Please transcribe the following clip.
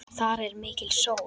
Þar er mikil sól.